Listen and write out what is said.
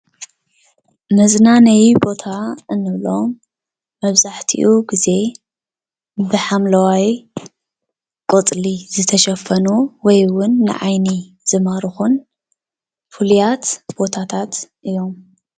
መዝናነይ ቦታ እንብሎም መብዛሕትኡ ግዜ ብሓምለዋይ ቆፅሊ ዝተሸፈኑ ወይ እውን ንዓይኒ ዝማርኹን ፉሉያት ቦታታት እዮም፡፡